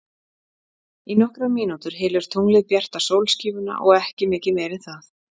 Í nokkrar mínútur hylur tunglið bjarta sólskífuna og ekki mikið meira en það.